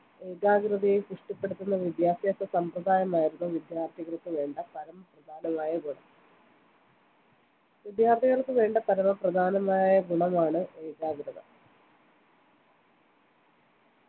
ഏകാഗ്ര തയെ പുഷ്ടിപ്പെടുത്തുന്ന വിദ്യാഭ്യാസ സമ്പ്രദായമായിരുന്നു വിദ്യാർത്ഥികൾക്കുവേണ്ട പരമപ്രധാനമായ ഗുണം വിദ്യാർത്ഥികൾക്കുവേണ്ട പരമപ്രധാനമായ ഗുണമാണ് ഏകാഗ്രത